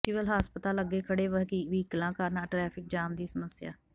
civil ਹਸਪਤਾਲ ਅੱਗੇ ਖੜ੍ਹੇ ਵਹੀਕਲਾਂ ਕਾਰਨ ਟ੍ਰੈਫਿਕ ਜਾਮ ਦੀ ਸਮੱਸਿਆ